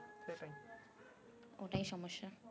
ওটাই সমস্যা